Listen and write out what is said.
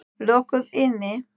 Lokuð inni.